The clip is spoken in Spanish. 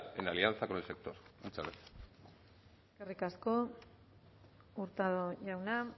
en alianza con el sector muchas gracias eskerrik asko hurtado jauna